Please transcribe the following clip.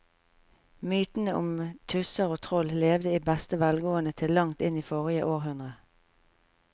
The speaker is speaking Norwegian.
Mytene om tusser og troll levde i beste velgående til langt inn i forrige århundre.